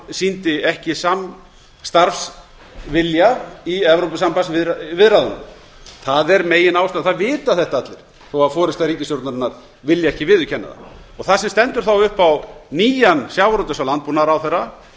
sýndi ekki samstarfsvilja í evrópusambandsviðræðunum það er meginástæðan það vita þetta allir þó forusta ríkisstjórnarinnar vilji ekki viðurkenna það það sem stendur þó upp á nýjan sjávarútvegs og landbúnaðarráðherra